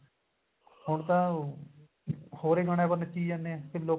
ਹੁਣ ਤਾਂ ਹੋਰ ਈ ਗਾਣੇਆਂ ਪਰ ਨੱਚੀ ਜਾਨੇ ਏ ਲੋਕਾਂ ਨੇ